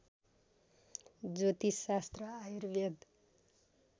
ज्योतिषशास्त्र Ayurveda